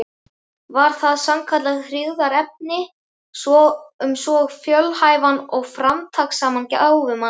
Var það sannkallað hryggðarefni um svo fjölhæfan og framtakssaman gáfumann.